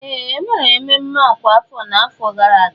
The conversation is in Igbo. Ee! E mere mmemme ọkwa afọ n'afọ gara aga.